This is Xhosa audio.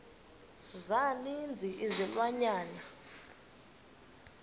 za ninzi izilwanyana